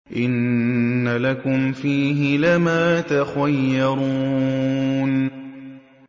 إِنَّ لَكُمْ فِيهِ لَمَا تَخَيَّرُونَ